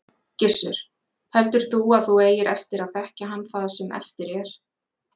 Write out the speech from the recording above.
Gissur: Heldur þú að þú eigir eftir að þekkja hann það sem eftir er?